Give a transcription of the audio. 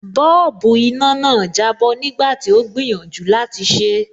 Bọ́ọ̀bù iná náà jábọ́ nígbà tí ó gbìyànjú láti ṣé.